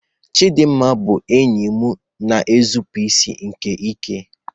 Chidimma bụ enyi m na-eguzosi ike n'ihe